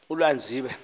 ulanzibe